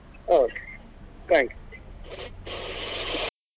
Okay thank you .